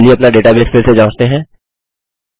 अब चलिए अपना डेटाबेस फिर से जाँचते हैं